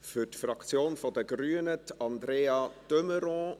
Für die Fraktion der Grünen: Andrea de Meuron.